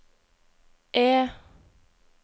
E